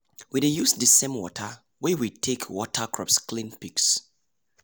we dey use the same water wey we take water crops clean pigs.